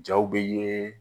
Jaw bɛ ye.